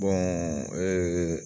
[cs ee